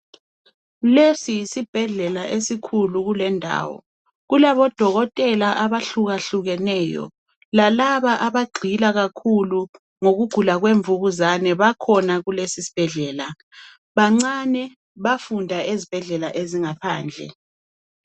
Lesi yesibhedlela esikhulu kule indawo. Kukabodokotela abahlukehlukeneyo lalaba abagxila kakhulu ngokugula kwemvukuzane bakhona kulesisibhedlela. Bancane bafunda ezibhedlela ezingaphandle.